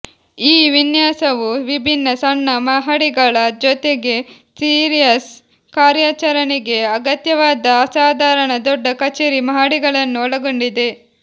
ಈ ವಿನ್ಯಾಸವು ವಿಭಿನ್ನ ಸಣ್ಣ ಮಹಡಿಗಳ ಜೊತೆಗೆ ಸಿಯರ್ಸ್ ಕಾರ್ಯಾಚರಣೆಗೆ ಅಗತ್ಯವಾದ ಅಸಾಧಾರಣ ದೊಡ್ಡ ಕಚೇರಿ ಮಹಡಿಗಳನ್ನು ಒಳಗೊಂಡಿದೆ